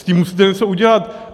S tím musíte něco udělat.